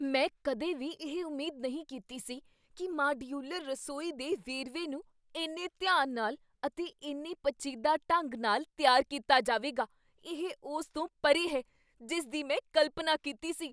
ਮੈਂ ਕਦੇ ਵੀ ਇਹ ਉਮੀਦ ਨਹੀਂ ਕੀਤੀ ਸੀ ਕੀ ਮਾਡਯੂਲਰ ਰਸੋਈ ਦੇ ਵੇਰਵੇ ਨੂੰ ਇੰਨੇ ਧਿਆਨ ਨਾਲ ਅਤੇ ਇੰਨੇ ਪੇਚੀਦਾ ਢੰਗ ਨਾਲ ਤਿਆਰ ਕੀਤਾ ਜਾਵੇਗਾ ! ਇਹ ਉਸ ਤੋਂ ਪਰੇ ਹੈ ਜਿਸ ਦੀ ਮੈਂ ਕਲਪਨਾ ਕੀਤੀ ਸੀ।